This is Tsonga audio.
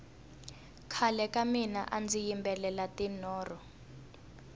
khale ka mina andzi yimbelela tinoro